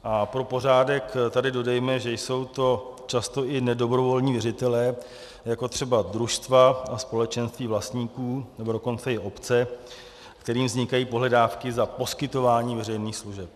A pro pořádek tady dodejme, že jsou to často i nedobrovolní věřitelé, jako třeba družstva a společenství vlastníků, nebo dokonce i obce, kterým vznikají pohledávky za poskytování veřejných služeb.